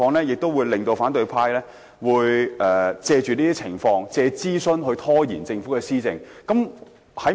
我相信反對派會藉諮詢拖延政府的施政。